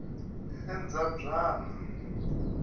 endzambyana